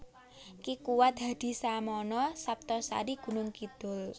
Ki Kuwat Hadisamono Saptosari Gunungkidul